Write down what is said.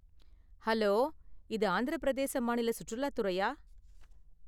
Hello, இது ஆந்திர பிரதேச மாநில சுற்றுலா துறையா?